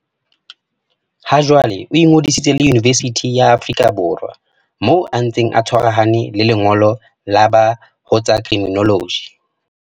Hajwale o ingodisitse le Yunibesithi ya Afrika Borwa moo a ntseng a tshwarahane le lengolo la BA ho tsa Criminology.